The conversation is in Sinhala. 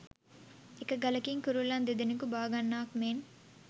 එක ගලකින් කුරුල්ලන් දෙදෙනකු බාගන්නාක් මෙන්